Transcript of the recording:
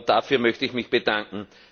Dafür möchte ich mich bedanken.